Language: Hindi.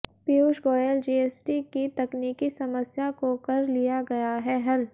पीयूष गोयल जीएसटी की तकनीकी समस्या को कर लिया गया है हल